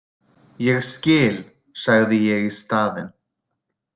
Ég skil, sagði ég í staðinn.